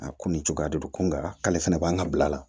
A ko nin cogoya de don ko nka k'ale fɛnɛ b'an ka bila la